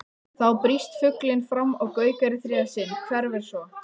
Þá brýst fuglinn fram og gaukar í þriðja sinn, hverfur svo.